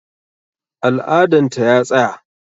Al'adan ta ya tsaya